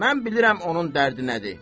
Mən bilirəm onun dərdi nədir.